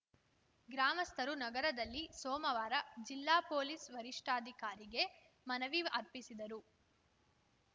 ಗ್ರಾಮಸ್ಥರು ನಗರದಲ್ಲಿ ಸೋಮವಾರ ಜಿಲ್ಲಾ ಪೊಲೀಸ್‌ ವರಿಷ್ಠಾಧಿಕಾರಿಗೆ ಮನವಿ ಅರ್ಪಿಸಿದರು